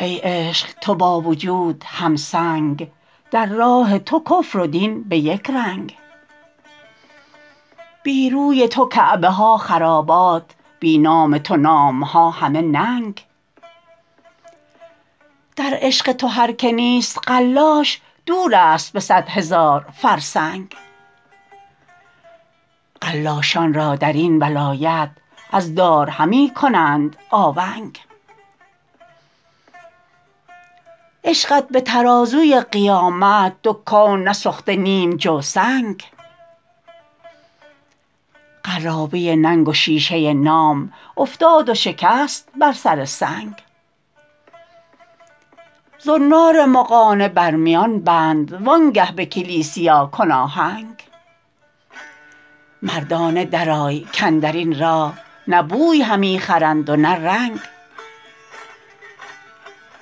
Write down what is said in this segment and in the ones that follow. ای عشق تو با وجود هم تنگ در راه تو کفر و دین به یک رنگ بی روی تو کعبه ها خرابات بی نام تو نامها همه ننگ در عشق تو هر که نیست قلاش دور است به صد هزار فرسنگ قلاشان را درین ولایت از دار همی کنند آونگ عشقت به ترازوی قیامت دو کون نسفت نیم جو سنگ قرابه ننگ و شیشه نام افتاد و شکست بر سر سنگ زنار مغانه بر میان بند وانگه به کلیسیا کن آهنگ مردانه درآی کاندرین راه نه بوی همی خرند و نه رنگ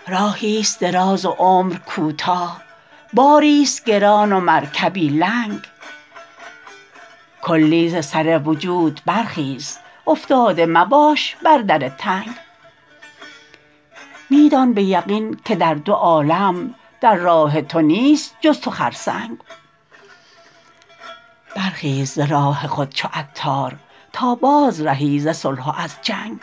راهی است دراز و عمر کوتاه باری است گران و مرکبی لنگ کلی ز سر وجود برخیز افتاده مباش بر در تنگ می دان به یقین که در دو عالم در راه تو نیست جز تو خرسنگ برخیز ز راه خود چو عطار تا بازرهی ز صلح و از جنگ